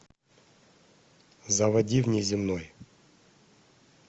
заводи внеземной